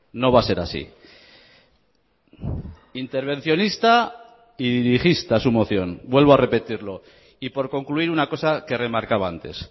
no va a ser así intervencionista y dirigista su moción vuelvo a repetirlo y por concluir una cosa que remarcaba antes